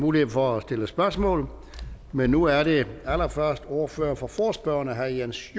mulighed for at stille spørgsmål men nu er det allerførst ordføreren for forespørgerne herre jens